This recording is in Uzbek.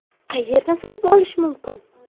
Qayerdan sotib olish mumkin?